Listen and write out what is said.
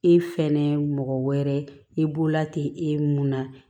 E fɛnɛ mɔgɔ wɛrɛ i bolola ti e mun na